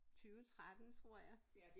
20 13 tror jeg